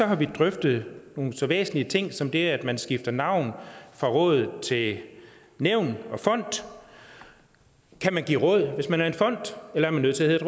har vi drøftet nogle så væsentlige ting som det at man skifter navn fra råd til nævn og fond kan man give råd hvis man er en fond eller er man nødt til at